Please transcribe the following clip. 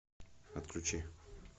отключи